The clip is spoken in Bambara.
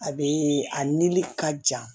A bɛ a nili ka jan